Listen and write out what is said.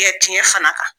tiɲɛ fana kan